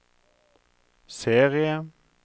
serie